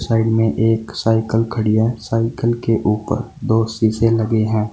Side में एक cycle खड़ी है सायकल के ऊपर दो सीसे लगे हैं।